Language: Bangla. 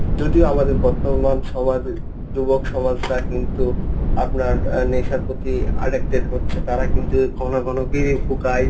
যদিও আমাদের বর্তমান সমাজে যুবক সমাজটা কিন্তু আপনার নেশার প্রতি addicted হচ্ছে. তাঁরা কিন্তু ঘন ঘন বিড়ি ফুকায়।